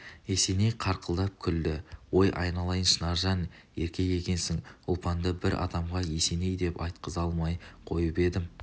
есеней қарқылдап күлді ой айналайын шынаржан еркек екенсің ұлпанды бір адамға есеней деп айтқыза алмай қойып едім